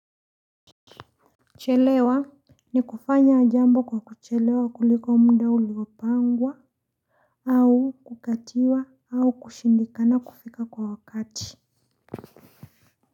Chelewa ni kufanya jambo kwa kuchelewa kuliko muda uliopangwa au kukatiwa au kushindikana kufika kwa wakati.